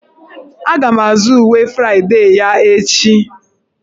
Aga m azụ uwe Fraịdee ya echi.